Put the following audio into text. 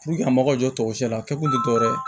a mago bɛ jɔsi la a kɛ kun tɛ dɔ wɛrɛ ye